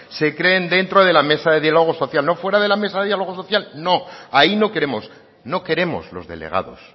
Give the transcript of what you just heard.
se creen dentro de la mesa de diálogo social no fuera de la mesa de diálogo social no ahí no queremos no queremos los delegados